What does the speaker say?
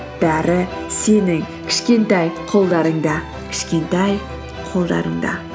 бәрі сенің кішкентай қолдарыңда кішкентай қолдарыңда